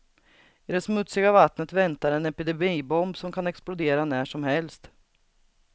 I det smutsiga vattnet väntar en epidemibomb som kan explodera när som helst.